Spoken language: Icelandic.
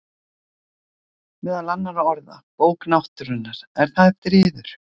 Meðal annarra orða: Bók náttúrunnar,- er það eftir yður?